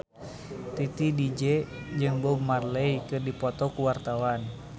Titi DJ jeung Bob Marley keur dipoto ku wartawan